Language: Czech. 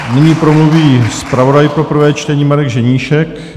Nyní promluví zpravodaj pro prvé čtení Marek Ženíšek.